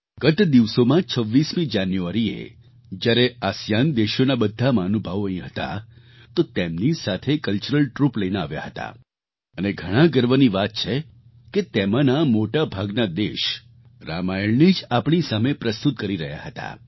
ગત દિવસોમાં 26 જાન્યુઆરીએ જ્યારે આસિયાન આસિયાન દેશોના બધા મહાનુભાવો અહીં હતા તો તેમની સાથે કલ્ચરલ ટ્રૂપ લઈને આવ્યા હતા અને ઘણા ગર્વની વાત છે કે તેમાંના મોટા ભાગના દેશ રામાયણને જ આપણી સામે પ્રસ્તુત કરી રહ્યા હતા